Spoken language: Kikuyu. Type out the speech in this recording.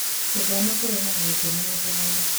Gũthoma kũrehaga gĩkeno na thayũ.